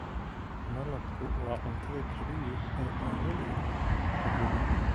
Malabku waa cuntada kaliya ee aan waligood kharribin.